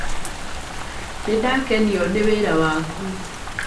Nĩ ndakenio nĩ wĩra waku.